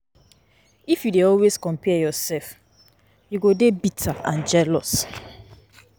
If you dey always compare yourself, you go dey bitter and jealous.